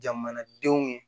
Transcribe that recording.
Jamanadenw